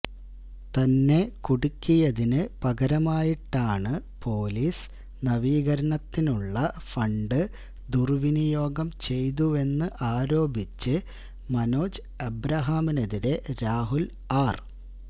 തന്നെ കുടുക്കിയതിന് പകരമായിട്ടാണ് പൊലീസ് നവീകരണത്തിനുള്ള ഫണ്ട് ദുർവിനിയോഗം ചെയ്തുവെന്ന് ആരോപിച്ച് മനോജ് ഏബ്രഹാമിനെതിരേ രാഹുൽ ആർ